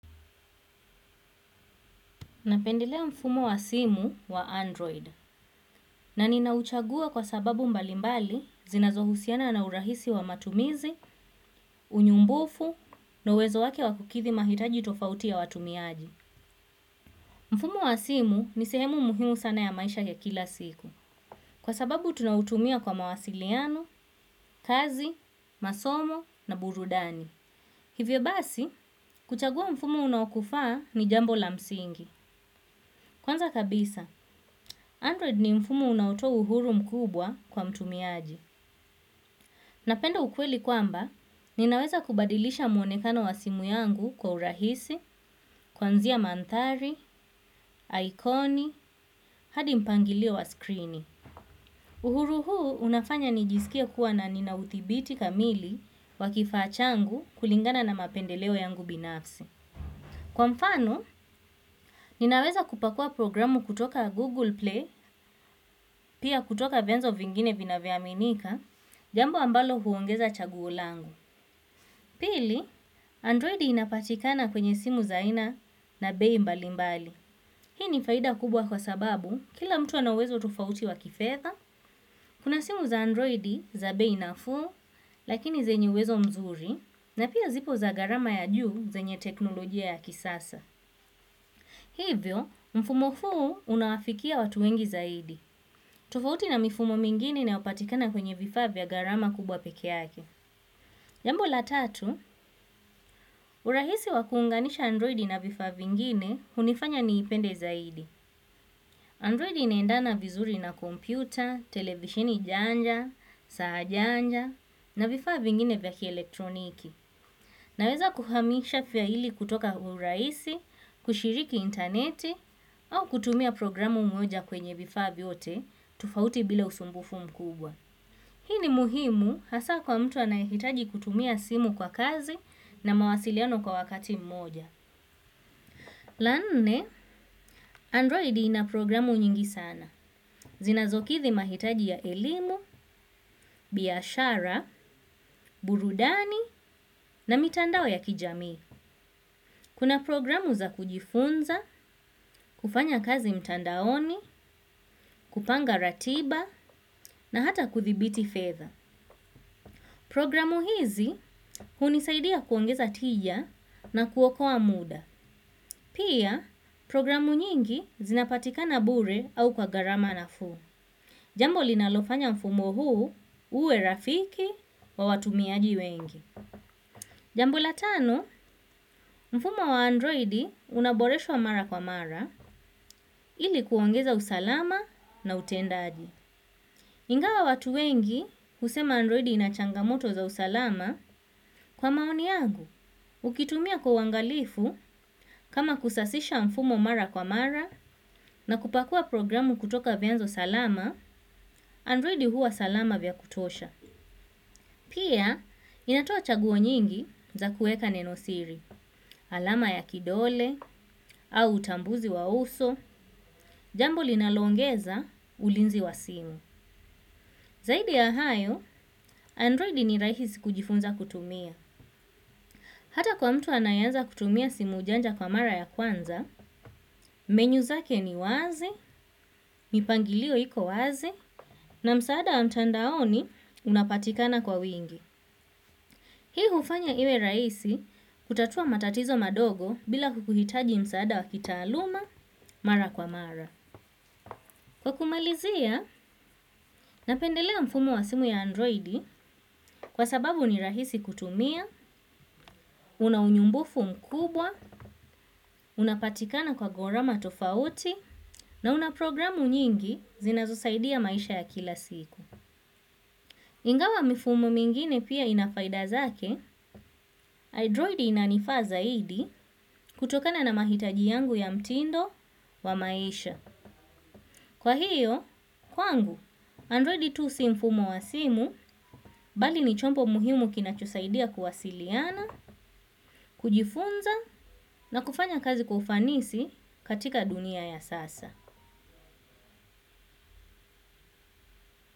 Napendelea mfumo wa simu wa Android na ninauchagua kwa sababu mbalimbali zinazohusiana na urahisi wa matumizi, unyumbufu na uwezo wake wa kukidhi mahitaji tofauti ya watumiaji. Mfumo wa simu ni sehemu muhimu sana ya maisha ya kila siku kwa sababu tunautumia kwa mawasiliano, kazi, masomo na burudani. Hivyo basi, kuchagua mfumo unaokufaa ni jambo la msingi. Kwanza kabisa, Android ni mfumo unaotoa uhuru mkubwa kwa mtumiaji. Napenda ukweli kwamba, ninaweza kubadilisha mwonekano wa simu yangu kwa urahisi, kuanzia mandhari, ikoni, hadi mpangilio wa skrini. Uhuru huu unafanya nijisikie kuwa na nina udhibiti kamili wa kifaa changu kulingana na mapendeleo yangu binafsi. Kwa mfano, ninaweza kupakua programu kutoka Google Play, pia kutoka vyanzo vingine vinavyoaminika, jambo ambalo huongeza chaguo langu. Pili, Androidi inapatikana kwenye simu za aina na bei mbali mbali. Hii ni faida kubwa kwa sababu kila mtu ana uwezo tofauti wa kifedha, kuna simu za Android za bei nafuu, lakini zenye uwezo mzuri, na pia zipo za gharama ya juu zenye teknolojia ya kisasa. Hivyo, mfumo huu unawafikia watu wengi zaidi. Tofauti na mifumo mingine inayopatikana kwenye vifaa vya gharama kubwa pekee yake. Jambo la tatu, urahisi wa kuunganisha androidi na vifaa vingine hunifanya niipende zaidi. Androidi inaendana vizuri na kompyuta, televisheni janja, saa janja, na vifaa vingine vya kielektroniki. Naweza kuhamisha faili kutoka kwa urahisi, kushiriki interneti, au kutumia programu moja kwenye vifaa vyote, tofauti bila usumbufu mkubwa. Hii ni muhimu hasa kwa mtu anayehitaji kutumia simu kwa kazi na mawasiliano kwa wakati mmoja. La nne, androidi ina programu nyingi sana. Zinazokidhi mahitaji ya elimu, biashara, burudani na mitandao ya kijamii. Kuna programu za kujifunza, kufanya kazi mtandaoni, kupanga ratiba na hata kudhibiti fedha. Programu hizi hunisaidia kuongeza tija na kuokoa muda. Pia programu nyingi zinapatikana bure au kwa gharama nafuu. Jambo linalofanya mfumo huu uwe rafiki wa watumiaji wengi. Jambo la tano, mfumo wa androidi unaboreshwa mara kwa mara ili kuongeza usalama na utendaji. Ingawa watu wengi husema androidi ina changamoto za usalama kwa maoni yangu. Ukitumia kwa uangalifu, kama kusasisha mfumo mara kwa mara na kupakua programu kutoka vyanzo salama, androidi huwa salama vya kutosha. Pia, inatoa chaguo nyingi za kuweka nenosiri, alama ya kidole, au utambuzi wa uso, jambo linaloongeza ulinzi wa simu. Zaidi ya hayo, Androidi ni rahisi kujifunza kutumia. Hata kwa mtu anayeanza kutumia simu janja kwa mara ya kwanza, menu zake ni wazi, mipangilio iko wazi, na msaada wa mtandaoni unapatikana kwa wingi. Hii hufanya iwe rahisi kutatua matatizo madogo bila kukuhitaji msaada wa kitaaluma mara kwa mara. Kwa kumalizia, napendelea mfumo wa simu ya androidi kwa sababu ni rahisi kutumia, una unyumbufu mkubwa, unapatikana kwa gharama tofauti, na una programu nyingi zinazosaidia maisha ya kila siku. Ingawa mifumo mingine pia ina faida zake, Android inanifaa zaidi kutokana na mahitaji yangu ya mtindo wa maisha. Kwa hiyo, kwangu, Android tu si mfumo wa simu bali ni chombo muhimu kinachosaidia kuwasiliana, kujifunza na kufanya kazi kwa ufanisi katika dunia ya sasa.